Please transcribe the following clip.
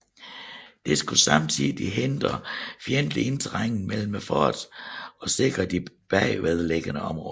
Det skulle samtidig hindre fjendtlig indtrængen mellem forterne og sikre de bagved liggende områder